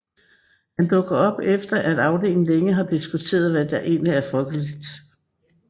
Han dukker op efter at afdelingen længe har diskuteret hvad der egentlig er folkeligt